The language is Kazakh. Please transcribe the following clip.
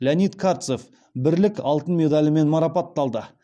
леонид картсев бірлік алтын медалімен марапатталды